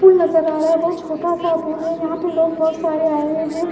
पुल नजर आ रहा है बहुत छोटा सा पुल है यहां पे लोग बहुत सारे आए हुए हैं।